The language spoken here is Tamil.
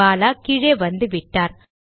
பாலா கீழே வந்துவிட்டார்